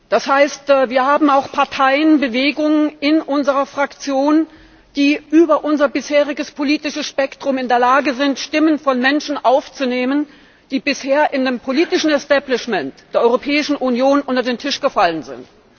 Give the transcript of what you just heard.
Das heißt, wir haben auch Parteienbewegungen in unserer Fraktion, die über unser bisheriges politisches Spektrum hinaus in der Lage sind, Stimmen von Menschen aufzunehmen, die bisher im politischen Establishment der Europäischen Union unter den Tisch gefallen sind.